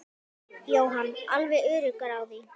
Jóhann: Alveg öruggur á því?